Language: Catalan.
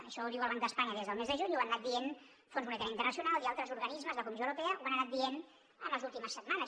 això ho diu el banc d’espanya des del mes de juny i ho han anat dient fons monetari internacional i altres organismes la comissió europea ho ha anat dient en les últimes setmanes